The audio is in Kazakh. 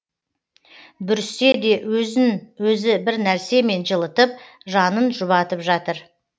бүріссе де өзін өзі бір нәрсемен жылытып жанын жұбатып жатыр